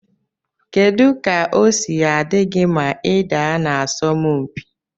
Kedu ka osi adigi ma ida na asọm mpi?